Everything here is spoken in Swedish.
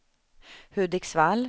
Hudiksvall